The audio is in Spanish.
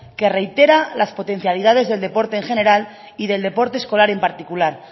que reitera las potencialidades del deporte en general y del deporte escolar en particular